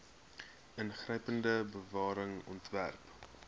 ingrypende bewaring ontwerp